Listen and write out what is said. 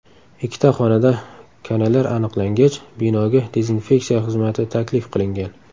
Ikkita xonada kanalar aniqlangach, binoga dezinseksiya xizmati taklif qilingan.